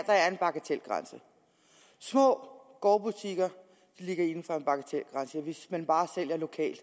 der er en bagatelgrænse små gårdbutikker ligger inden for bagatelgrænsen og hvis man bare sælger lokalt